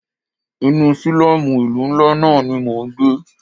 Inú sílọ́mù ìlú ńlá náà ní mọ ń gbé.